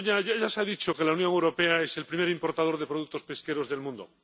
Ya se ha dicho que la Unión Europea es el primer importador de productos pesqueros del mundo.